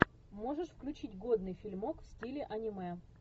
можешь включить годный фильмок в стиле аниме